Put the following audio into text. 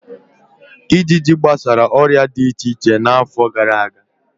Ịjịjị gbasa ọrịa di iche iche n'afọ gara aga.